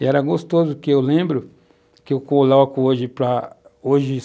E era gostoso que eu lembro, que eu coloco hoje para, hoje